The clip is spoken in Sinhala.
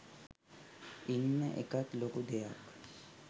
ඉන්න එකත් ලොකු දෙයක්.